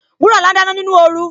Wuraola ń dáná nínú oru